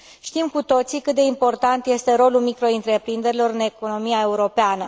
Știm cu toții cât de important este rolul microîntreprinderilor în economia europeană.